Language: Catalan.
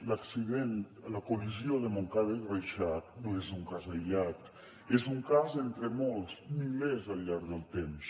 l’accident la col·lisió de montcada i reixac no és un cas aïllat és un cas entre molts milers al llarg del temps